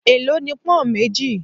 È ló ni pón méjì?